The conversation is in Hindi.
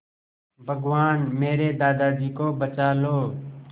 भगवान मेरे दादाजी को बचा लो